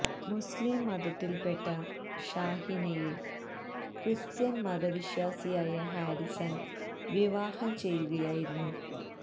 മുസ്ലീം മതത്തില് പെട്ട ഷാഹിനയെ ക്രിസ്ത്യന് മതവിശ്വാസിയായ ഹാരിസണ് വിവാഹം ചെയ്യുകയായിരുന്നു